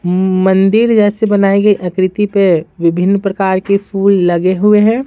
मंदिर जैसे बनाई गई आकृति पे विभिन्न प्रकार के फूल लगे हुए है।